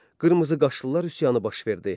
Qırmızıqaşlılar üsyanı baş verdi.